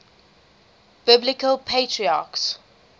biblical patriarchs